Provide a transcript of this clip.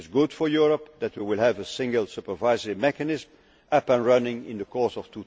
summit. It is good for Europe that we will have a single supervisory mechanism up and running in the course